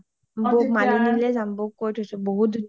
বৌওক মালিনি লে যাম, বৌওক কই থৈছো বহুত ধুনীয়া হয়